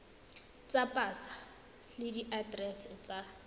tsa pasa le diaterese tsa